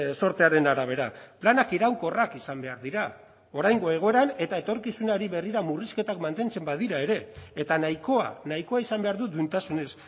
zortearen arabera planak iraunkorrak izan behar dira oraingo egoeran eta etorkizunari berrira murrizketak mantentzen badira ere eta nahikoa nahikoa izan behar du duintasunez